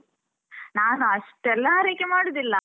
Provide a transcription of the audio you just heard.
ನಾನು ಅಷ್ಟೆಲ್ಲ ಆರೈಕೆ ಮಾಡುದಿಲ್ಲ.